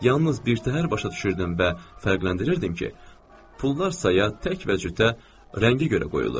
Yalnız birtəhər başa düşürdüm və fərqləndirirdim ki, pullar saya tək və cütə, rəngə görə qoyulur.